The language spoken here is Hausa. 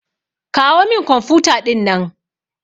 Kawo min kwamfuta ɗinnan.